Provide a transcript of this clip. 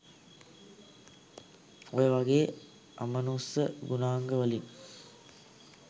ඔය වාගේ අමනුස්ස ගුණාංග වලින්